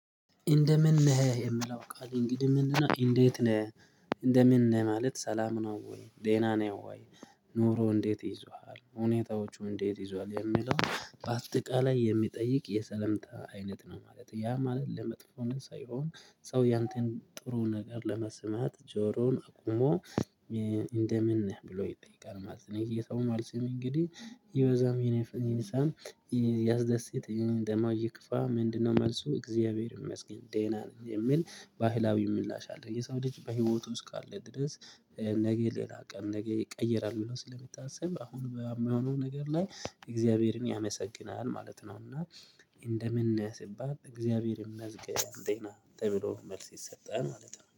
እንደምን ነህ የምለው ቃል እንግዲህ ምንድነው እንዴት ነህ እንደምን ነህ ማለት ሰላም ነው ወይ ደህና ነው ወይ? ኑሮ እንዴት ይዟል ሁኔታዎቹ እንዴት ይዟል የሚለው በአጠቃላይ የሚጠይቅ የሰለምታ አይነት ነው። ማለት ያ ማለት ለመጥፎን ሳይሆን ሰው ያንተን ጥሩ ነገር ለመስማት ጆሮውን አቁሞ እንደምን ነህ ብሎ ይጠይቃል ማለት የሰው መልስም እንግዲህ ይብዛም ይንሳም። ያስደስት ደግሞ ይክፋ ምንድነው መልሱ እግዚአብሔር ይመስገን ደህና ነኝ የሚል። ባህላዊ ምላሽ አለ የሰው ልጅ በህይወቱ እስካለ ድረስ። ነገ ሌላ ቀን ነገ ይቀየራል ብሎ ስለሚታሰብ አሁን በምሆነው ነገር ላይ እግዚአብሔርን ያመሰግናል ማለት ነው። እና እንደምን ነህ ሲባል እግዚአብሔር ይመስገን ደህና ተብሎ መልስ ይሰጠል ማለት ነው